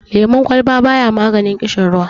lemon kwalba ba ya maganin kishirwa